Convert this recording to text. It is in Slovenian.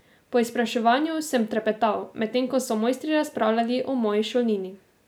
Po izpraševanju sem trepetal, medtem ko so mojstri razpravljali o moji šolnini.